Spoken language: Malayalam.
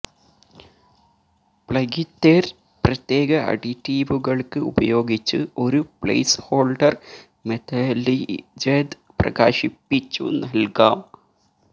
മപെഗ്ലിത്തെര് പ്രത്യേക അഡിറ്റീവുകൾക്ക് ഉപയോഗിച്ച് ഒരു പ്ലേസ്ഹോൾഡർ മെതല്ലിജെദ് പ്രകാശിപ്പിച്ചു നൽകാം